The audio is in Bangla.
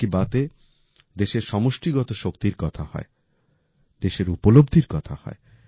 মন কি বাতে দেশের সমষ্টিগত শক্তির কথা হয় দেশের উপলব্ধির কথা হয়